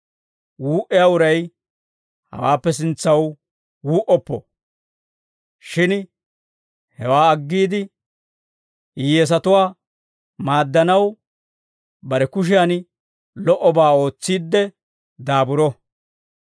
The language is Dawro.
Wuu"iyaa uray hawaappe sintsaw wuu"oppo; shin hewaa aggiide, hiyyeesatuwaa maaddanaw, bare kushiyan lo"obaa ootsiidde daaburo.